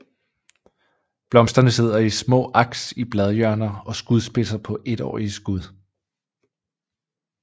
Blomsterne sidder i små aks i bladhjørner og skudspidser på étårige skud